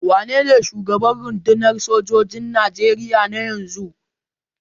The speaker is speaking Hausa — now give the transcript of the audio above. Wanene shugaban rundunar sojojin Nigeria na yanzu?